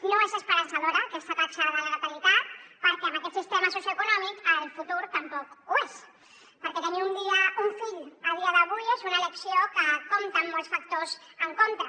no és esperançadora aquesta taxa de la natalitat perquè amb aquest sistema socioeconòmic el futur tampoc ho és perquè tenir un fill a dia d’avui és una elecció que compta amb molts factors en contra